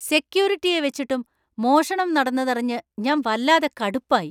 സെക്യൂരിറ്റിയെ വച്ചിട്ടും മോഷണം നടന്നതറിഞ്ഞു ഞാന്‍ വല്ലാതെ കടുപ്പായി.